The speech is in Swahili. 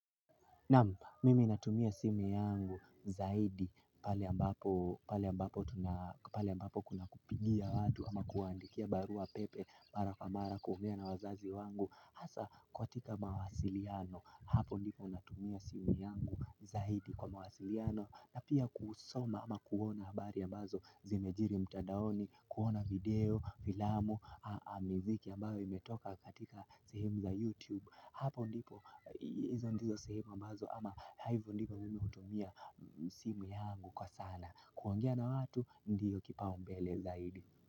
Naam, mimi natumia simu yangu zaidi pale ambapo pale ambapo kuna kupigia watu ama kuwaandikia baruapepe mara kwa mara kuongea na wazazi wangu. Hasa katika mawasiliano, hapo ndipo natumia simu yangu zaidi kwa mawasiliano na pia kusoma ama kuona habari ambazo zimejiri mtadaoni, kuona video, filamu, miziki ambayo imetoka katika sehemu za YouTube. Hapo ndipo hizo ndizo sehemu ambazo ama hivo ndivyo mimi hutumia simu yangu kwa sana. Kuongea na watu ndio kipaumbele zaidi.